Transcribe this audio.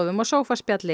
og